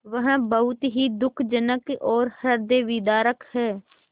वह बहुत ही दुःखजनक और हृदयविदारक है